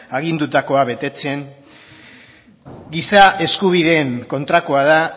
agindutakoa betetzen giza eskubideen kontrakoa da